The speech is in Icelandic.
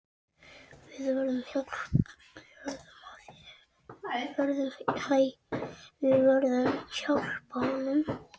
Við verðum hjálpa honum.